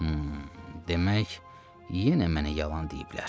Hım, demək yenə mənə yalan deyiblər.